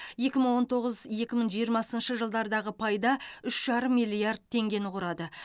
екі мың он тоғыз екі мың жиырмасыншы жылдардағы пайда үш жарым миллиард теңгені құрады